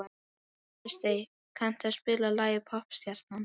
Kristey, kanntu að spila lagið „Poppstjarnan“?